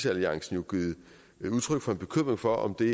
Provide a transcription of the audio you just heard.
alliance jo givet udtryk for en bekymring for om det